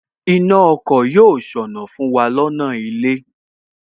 Iná ọkọ̀ yóò ṣọnà fún wa lọ́nà ilé